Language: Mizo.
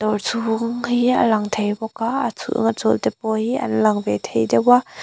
awr chhung hi a lang thei bawk a a chhung a chawl te pawh hi an lang ve thei deuh a.